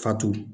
Fatu